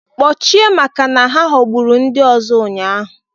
Kpochie maka na ha ghọgburu ndị ọzọ ụnyaahụ